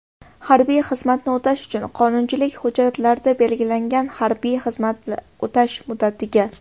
harbiy xizmatni o‘tash uchun — qonunchilik hujjatlarida belgilangan harbiy xizmatni o‘tash muddatiga;.